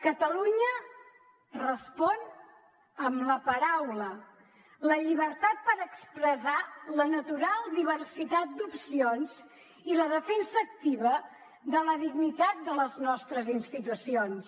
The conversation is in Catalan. catalunya respon amb la paraula la llibertat per expressar la natural diversitat d’opcions i la defensa activa de la dignitat de les nostres institucions